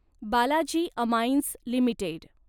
Balaji amines limited